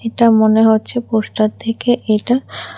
এটা মনে হচ্ছে পোস্টার থেকে এটা।